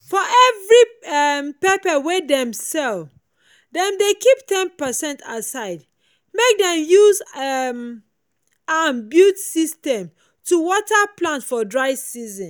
for every um pepper wey dem sell dem dey keep ten percent aside make dem use um am build system to water plant for dry season.